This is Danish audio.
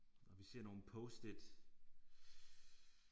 Og vi ser nogle post-it